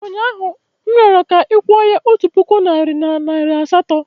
Ụnyaahụ, m rịọrọ ka ị kwụọ ya otu puku naịra na nari asatọ.